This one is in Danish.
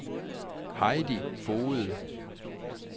Heidi Foged